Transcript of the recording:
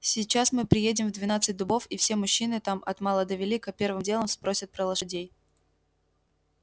сейчас мы приедем в двенадцать дубов и все мужчины там от мала до велика первым делом спросят про лошадей